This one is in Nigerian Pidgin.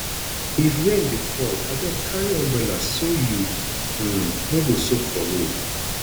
if rain dey fall abeg carry umbrella so you um no go soak for road